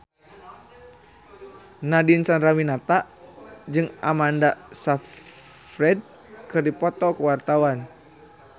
Nadine Chandrawinata jeung Amanda Sayfried keur dipoto ku wartawan